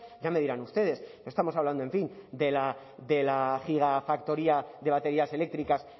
ya me dirán ustedes no estamos hablando en fin de la gigafactoría de baterías eléctricas